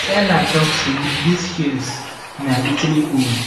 seller talk say these shears na italy own